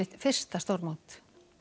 fyrsta stórmót